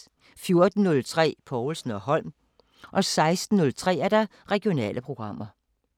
14:03: Povlsen & Holm 16:03: Regionale programmer